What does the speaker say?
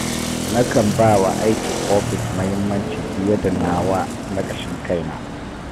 Nakan ba wa aikin ofis muhimmanci fiye da nawa na ƙashin kaina